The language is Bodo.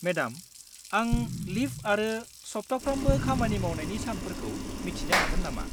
मेडाम, आं लिब आरो सब्थाफ्रामबो खामानि मावनायनि सानफोरखौ मिथिनो हागोन नामा?